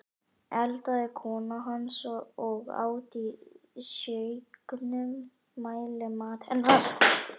eldaði kona hans, og át í síauknum mæli, mat hennar.